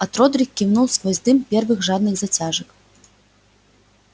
от родрик кивнул сквозь дым первых жадных затяжек